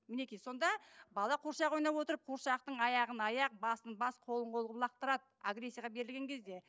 мінекей сонда бала қуыршақ ойнап отырып қуыршақтың аяғын аяқ басын бас қолын қол қылып лақтырады агрессияға берілген кезде